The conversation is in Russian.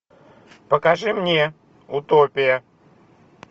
покажи мне утопия